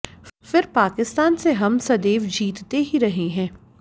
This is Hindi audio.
फ़िर पाकिस्तान से हम सदैव जीतते ही रहे हैं